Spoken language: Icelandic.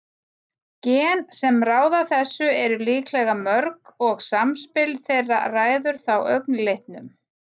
gen sem ráða þessu eru líklega mörg og samspil þeirra ræður þá augnlitnum